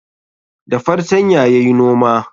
Da fartanya yayi noma